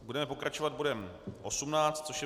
Budeme pokračovat bodem 18, což je